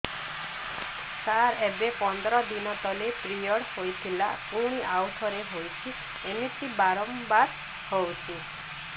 ସାର ଏବେ ପନ୍ଦର ଦିନ ତଳେ ପିରିଅଡ଼ ହୋଇଥିଲା ପୁଣି ଆଉଥରେ ହୋଇଛି ଏମିତି ବାରମ୍ବାର ହଉଛି